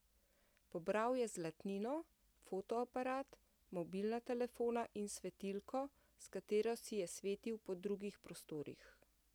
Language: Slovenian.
Pobral je zlatnino, fotoaparat, mobilna telefona in svetilko, s katero si je svetil po drugih prostorih.